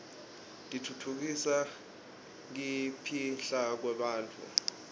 titfutfukisa kipihlakwebantfu